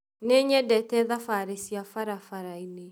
Nĩnyendete thabarĩ cia barabarainĩ